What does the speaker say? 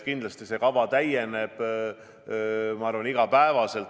Kindlasti see kava täieneb iga päev.